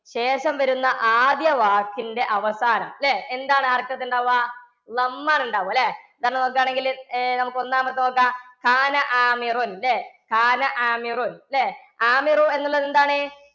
ശേഷം വരുന്ന ആദ്യ വാക്കിന്റെ അവസാനം ല്ലേ? എന്താണ് ഉണ്ടാവാ? ഉണ്ടാവുമല്ലേ? നോക്കാണെങ്കില്‍ അഹ് നമുക്കൊന്നാമാത്തെ നോക്കാം. ഇല്ലേ? എന്നുള്ളതെന്താണ്?